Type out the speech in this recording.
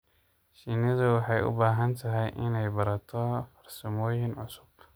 Shinnidu waxay u baahan tahay inay barato farsamooyin cusub.